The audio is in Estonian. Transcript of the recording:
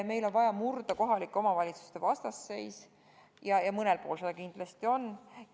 Meil on vaja murda kohalike omavalitsuste vastuseis, mida mõnel pool kindlasti on.